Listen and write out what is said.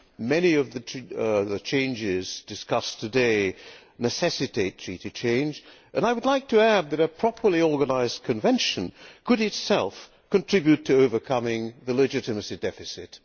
Many of the changes discussed today necessitate treaty change and I would like to add that a properly organised convention could itself contribute to overcoming the legitimacy deficit.